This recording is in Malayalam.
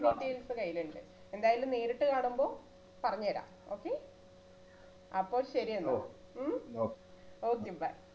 details കയ്യിലുണ്ട് എന്തായാലും നേരിട്ട് കാണുമ്പോ പറഞ്ഞു തരാം okay അപ്പോ ശരി എന്നാൽ ഉം okay bye